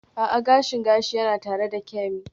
A'a, gashin gashi yana tare da Kemi.